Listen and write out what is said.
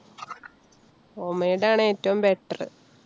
homemade ആണ് ഏറ്റവും better.